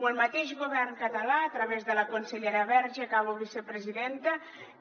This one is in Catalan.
o el mateix govern català a través de la consellera verge acabo vicepresidenta